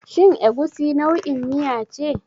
Shin Egusi nau'in miya ce?